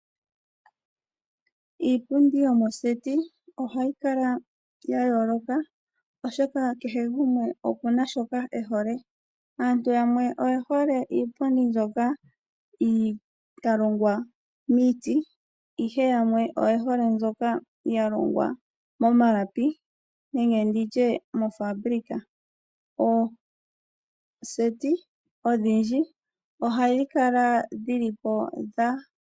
Iipundi yomoseti ohayi kala ya yooloka, oshoka kehe gumwe oku na shoka e hole. Aantu yamwe oye hole iipundi mbyoka ya longwa miiti, ihe yamwe oye hole mbyoka ya longwa momalapi nenge nditye mofabulika. Ooseti odhindji ohadhi kala dhili po dha.........